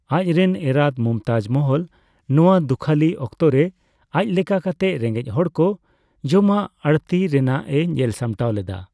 ᱟᱡᱨᱮᱱ ᱮᱨᱟᱛ ᱢᱚᱢᱛᱟᱡᱽ ᱢᱟᱦᱚᱞ ᱱᱚᱣᱟ ᱫᱩᱠᱷᱟᱹᱞᱤ ᱚᱠᱛᱚ ᱨᱮ ᱟᱡᱞᱮᱠᱟ ᱠᱟᱛᱮ ᱨᱮᱸᱜᱮᱡ ᱦᱚᱲᱠᱚ ᱡᱚᱢᱟᱜ ᱟᱹᱲᱛᱤ ᱨᱮᱱᱟᱜ ᱮ ᱧᱮᱞ ᱥᱟᱢᱴᱟᱣ ᱞᱮᱫᱟ ᱾